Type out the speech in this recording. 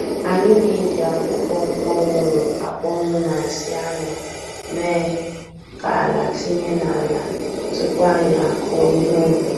Anyị na-eji akwụkwọ kpọnwụru akpọnwụ na nsị anụ mee ka ala tinye n'ala tupu anyị akụ ihe ubi.